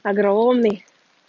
огромный